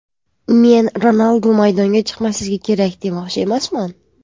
Men Ronaldu maydonga chiqmasligi kerak demoqchi emasman.